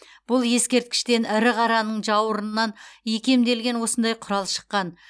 бұл ескерткіштен ірі қараның жауырынынан икемделген осындай құрал шыққан